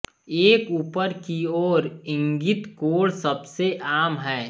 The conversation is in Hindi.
एक ऊपर की ओर इंगित कोण सबसे आम है